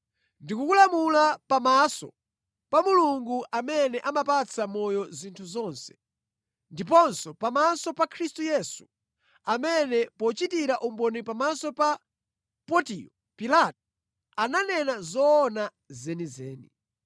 Ndikukulamula pamaso pa Mulungu amene amapatsa moyo zinthu zonse, ndiponso pamaso pa Khristu Yesu amene pochitira umboni pamaso pa Pontiyo Pilato, ananena zoona zenizeni.